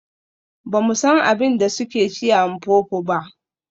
Ba mu san abin da suke ci a Mpopo ba.